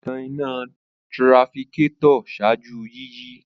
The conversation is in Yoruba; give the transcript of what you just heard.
O tan ìnà trafitor ṣáájú yiyi